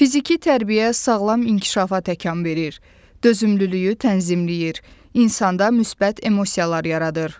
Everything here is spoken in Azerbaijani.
Fiziki tərbiyə sağlam inkişafa təkan verir, dözümlülüyü tənzimləyir, insanda müsbət emosiyalar yaradır.